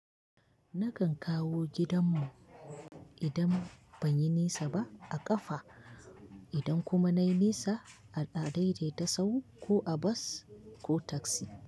Nakan kawo gidan mu idan ban yi nisa ba a ƙafa, idan kuma nayi nisa a daidaita sahu ko a bas ko taksi.